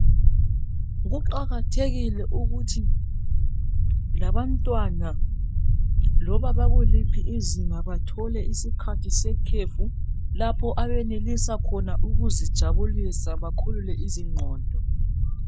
kuqakathekile ukuthi labantwana loba bakuliphi izinga bathole isikhathi sekhefu lapho baenelisa khona ukuzijabulisa bakhulule izinqondo